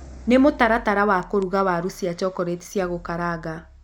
nĩ mũtaratara wa kũruga Waru cia chocolate cia gukaranga